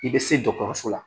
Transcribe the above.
I bɛ se dɔkɔtɔrɔso la